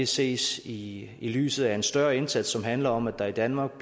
ses i lyset af en større indsats som handler om at der i danmark